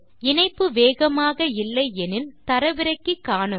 இணைப்பு வேகமாக இல்லை எனில் தரவிறக்கி காணுங்கள்